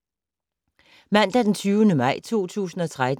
Mandag d. 20. maj 2013